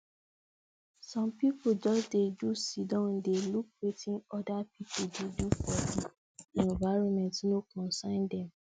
some pipu just dey do siddon dey look wetin other people dey do for di environment no concern them